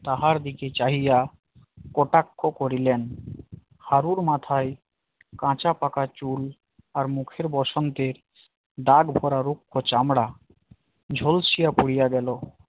তাহার দিকে চাহিয়া কটাক্ষ করিলেন হারুর মাথায় কাঁচা পাকা চুল মুখে বসন্তের দাগ-ভরা রুক্ষ চামড়া ঝোলসিয়া পুরিয়া গেল